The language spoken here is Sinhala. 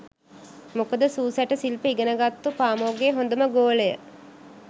මොකද සූ සැට සිල්ප ඉගෙනගත්තු පාමොක්ගෙ හොඳම ගෝලය